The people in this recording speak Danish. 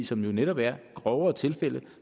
som netop er grovere tilfælde